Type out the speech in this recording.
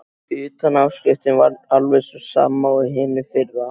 Utanáskriftin var alveg sú sama og á hinu fyrra.